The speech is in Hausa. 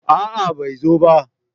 a'a bai zo ba